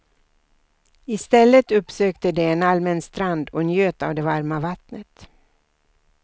I stället uppsökte de en allmän strand och njöt av det varma vattnet.